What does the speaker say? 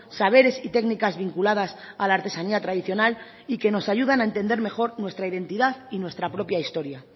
saberes y técnicas vinculadas a la artesanía tradicional y que nos ayudan a entender mejor nuestra identidad y nuestra propia historia